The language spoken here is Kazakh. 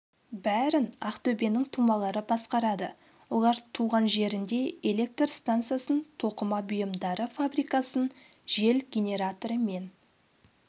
бәрін ақтөбенің тумалары басқарады олар туған жерінде электр стансасын тоқыма бұйымдары фабрикасын жел генераторы мен